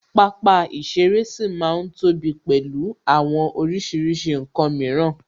Pápá ìṣeré ṣì ma ń ní tóbi pẹ̀lú àwọn oríṣiríṣi ǹkan mìíràn